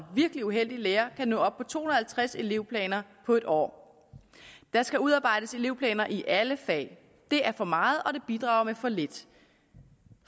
virkelig uheldig lærer kan nå op to hundrede og halvtreds elevplaner på et år der skal udarbejdes elevplaner i alle fag det er for meget og det bidrager med for lidt